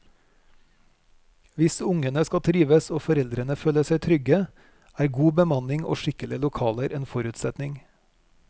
Hvis ungene skal trives og foreldrene føle seg trygge, er god bemanning og skikkelige lokaler en forutsetning.